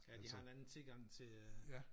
Ja de har en anden tilgang til øh